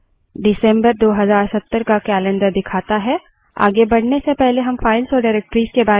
यह december 2070 का calendar दिखाता है